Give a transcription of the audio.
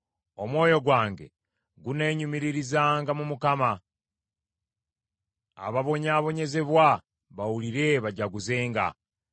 Omwoyo gwange guneenyumiririzanga mu Mukama ; ababonyaabonyezebwa bawulire bajaguzenga.